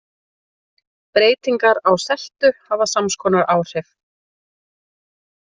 Breytingar á seltu hafa sams konar áhrif.